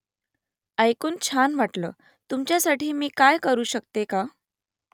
ऐकून छान वाटलं . तुमच्यासाठी मी काय करू शकते का ?